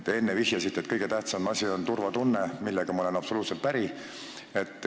Te enne vihjasite, et kõige tähtsam asi on turvatunne, millega ma olen absoluutselt päri.